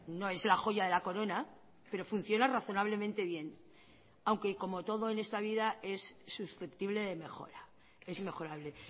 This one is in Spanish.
no es la joya de la corona pero funciona razonablemente bien aunque como todo en esta vida es susceptible de mejora es mejorable